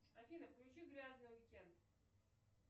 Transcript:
афина включи грязный уикенд